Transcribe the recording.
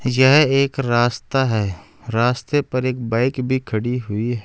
यह एक रास्ता है रास्ते पर एक बाइक भी खड़ी हुई है।